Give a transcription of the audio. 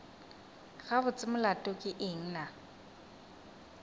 gabotse molato ke eng na